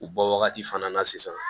U bɔ wagati fana na sisan